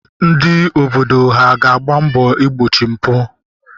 Ndị obodo ha ga-agba mbọ igbochi mpụ?